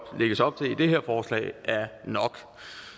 lægges op til i det her forslag er nok